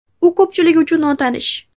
U ko‘pchilik uchun notanish.